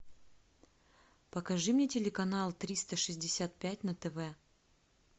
покажи мне телеканал триста шестьдесят пять на тв